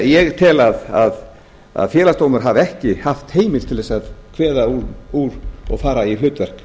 ég tel að félagsdómur hafi ekki haft heimild til þess að kveða úr og fara í hlutverk